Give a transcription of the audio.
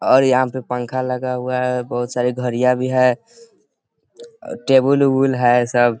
और यहाँ पे पंखा लगा हुआ है बहुत सारे घड़ियां भी हैं टेबल उबुल है सब।